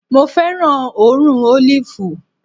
Mo fẹ́ràn òórùn ólìfù